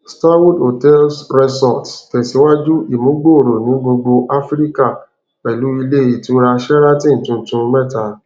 starwood hotels resorts tẹsíwájú ìmúgbòòrò ní gbogbo áfíríkà pẹlú ilé ìtura sheraton tuntun mẹta